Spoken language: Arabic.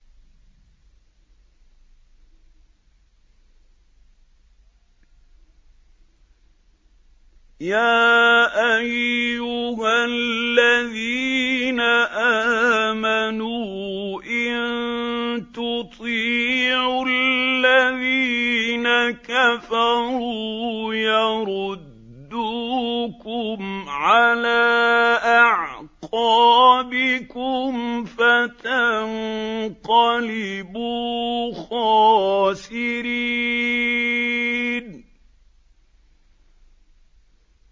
يَا أَيُّهَا الَّذِينَ آمَنُوا إِن تُطِيعُوا الَّذِينَ كَفَرُوا يَرُدُّوكُمْ عَلَىٰ أَعْقَابِكُمْ فَتَنقَلِبُوا خَاسِرِينَ